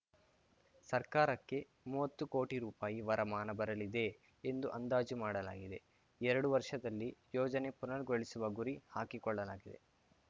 ಸರ್ಕಾರಕ್ಕೆ ಮೂವತ್ತು ಕೋಟಿ ರುಪಾಯಿ ವರಮಾನ ಬರಲಿದೆ ಎಂದು ಅಂದಾಜು ಮಾಡಲಾಗಿದೆ ಎರಡು ವರ್ಷದಲ್ಲಿ ಯೋಜನೆ ಪುನರ್ ಗೊಳಿಸುವ ಗುರಿ ಹಾಕಿಕೊಳ್ಳಲಾಗಿದೆ